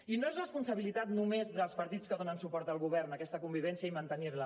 i no és responsabilitat només dels partits que donen suport al govern aquesta convivència i mantenir la